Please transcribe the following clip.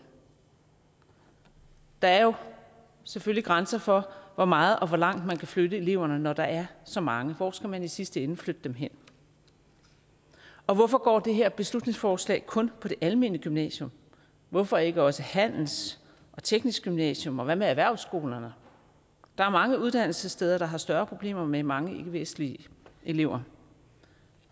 der er jo selvfølgelig grænser for hvor meget og hvor langt man kan flytte eleverne når der er så mange hvor skal man i sidste ende flytte dem hen og hvorfor går det her beslutningsforslag kun på det almene gymnasium hvorfor ikke også handels og teknisk gymnasium og hvad med erhvervsskolerne der er mange uddannelsessteder der har større problemer med mange ikkevestlige elever